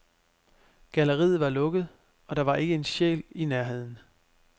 Galleriet var lukket, og der var ikke en sjæl i nærheden.